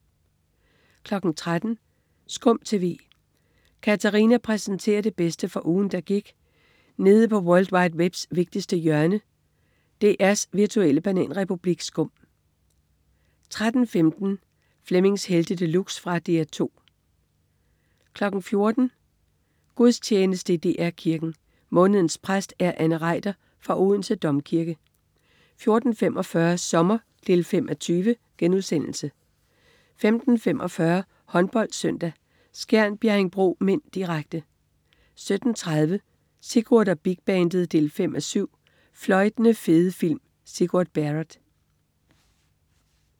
13.00 SKUM TV. Katarina præsenterer det bedste fra ugen, der gik nede på world wide webs vigtigste hjørne, DR's virtuelle bananrepublik SKUM 13.15 Flemmings Helte De Luxe. Fra DR 2 14.00 Gudstjeneste i DR Kirken. Månedens præst er Anne Reiter fra Odense Domkirke 14.45 Sommer 5:20* 15.45 HåndboldSøndag: Skjern-Bjerringbro (m), direkte 17.30 Sigurd og Big Bandet 5:7. Fløjtende fede film. Sigurd Barrett